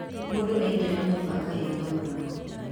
Mũndũ aingĩra nyũmba akahinga mũrango